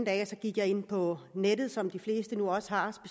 at jeg gik ind på nettet som de fleste jo også har